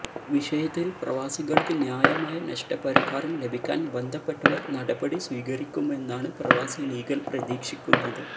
വിഷയത്തിൽ പ്രവാസികൾക്ക് ന്യായമായ നഷ്ട പരിഹാരം ലഭിക്കാൻ ബന്ധപ്പെട്ടവർ നടപടി സ്വീകരിക്കുമെന്നാണ് പ്രവാസി ലീഗൽ പ്രതീക്ഷിക്കുന്നത്